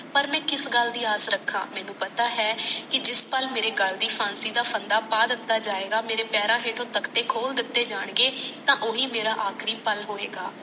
ਪਾਰ ਮੈ ਕਿਸ ਗੱਲ ਦੀ ਆਸ ਰਾਖਾ ਮੈਨੂੰ ਪਤਾ ਹੈ ਜਿਸ ਪਾਲ ਮਾਰੇ ਗੱਲ ਦੀ ਫਾਸੀ ਦਾ ਫੜਾ ਪਾ ਦਿੱਤਾ ਜਾਇਗਾ ਮਾਰੇ ਪਾਰੋ ਹੇਠੋ ਤਕਤੇ ਖੋਲ ਦਿਤੇ ਜਾਣ ਗਏ ਤਾ ਓਹੀ ਮਾਰਾ ਆਖਰੀ ਪਾਲ ਹੋਇਗਾ